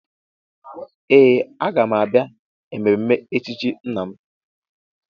Ee! Aga m abịa mmemme echichi nna m.